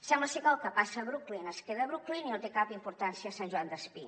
sembla ser que el que passa a brooklyn es queda a brooklyn i no té cap importància a sant joan despí